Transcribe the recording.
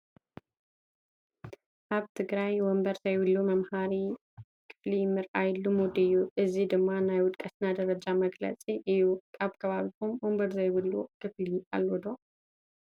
ኣብ ትግራይ ወንበር ዘይብሉ መምሃሪ ክፍሊ ምርኣይ ልሙድ እዩ፡፡ እዚ ድማ ናይ ውድቀትና ደረጃ መግለፂ እዩ፡፡ ኣብ ከባቢኹም ወንበር ዘይብሉ ክፍሊ ኣሎ ዶ?